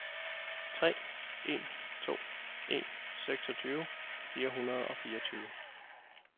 tre en to en seksogtyve fire hundrede og fireogtyve